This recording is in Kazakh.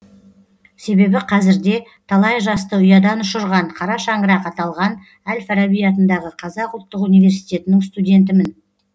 себебі қазірде талай жасты ұядан ұшырған қара шаңырақ аталған әл фараби атындағы қазақ ұлттық университетінің студентімін